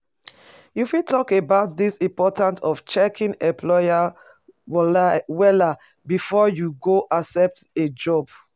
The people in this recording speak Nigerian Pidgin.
You fit talk about di importance of checking employers wella before you go accept a job?